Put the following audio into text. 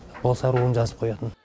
болса руын жазып қоятын